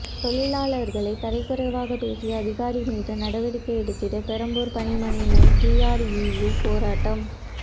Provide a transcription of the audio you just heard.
தொழிலாளர்களை தரக்குறைவாக பேசிய அதிகாரி மீது நடவடிக்கை எடுத்திடுக பெரம்பூர் பணிமனை முன்பு டிஆர்இயூ போராட்டம்